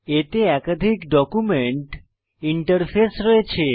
এতে একাধিক document interface রয়েছে